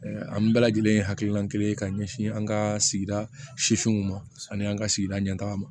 an bɛɛ lajɛlen ye hakilina kelen ye ka ɲɛsin an ka sigida sifinw ma sanni an ka sigida ɲɛ taga ma